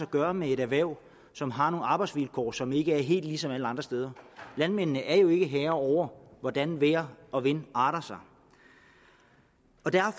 gøre med et erhverv som har nogle arbejdsvilkår som ikke er helt ligesom alle andre steder landmændene er jo ikke herre over hvordan vejr og vind arter sig